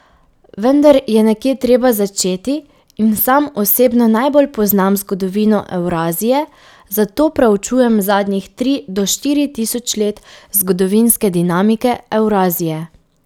Vendar je nekje treba začeti in sam osebno najbolj poznam zgodovino Evrazije, zato preučujem zadnjih tri do štiri tisoč let zgodovinske dinamike Evrazije.